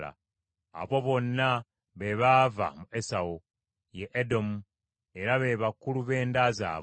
Abo bonna be baava mu Esawu, ye Edomu, era be bakulu b’enda zaabwe.